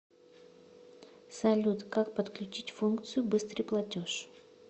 салют как подключить функцию быстрый платеж